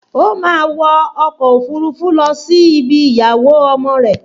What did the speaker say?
O máa wọ ọkọ̀ òfurufú lọ sí ibi ìyàwó ọmọ rẹ̀